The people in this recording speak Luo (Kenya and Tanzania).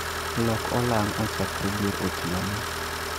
Lok olang' ochakre dier otieno